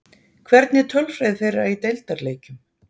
Hvernig er tölfræði þeirra í deildarleikjum?